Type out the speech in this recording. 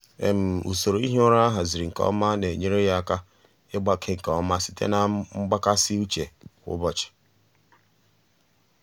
usoro ihi ụra a haziri nke ọma na-enyere ya aka ịgbake nke ọma site na mgbakasị uche kwa ụbọchị.